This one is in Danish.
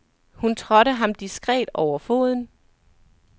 Hun trådte ham diskret over foden.